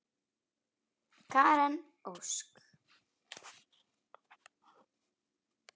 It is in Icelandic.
Karen Ósk.